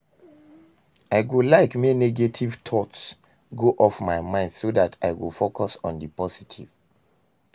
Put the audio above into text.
I go like make negative thoughts go off my mind so dat i go focus on di positive.